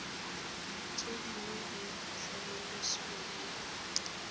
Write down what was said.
tse dingwe di tlhomamisiwa ke